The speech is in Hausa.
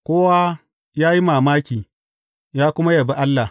Kowa ya yi mamaki, ya kuma yabi Allah.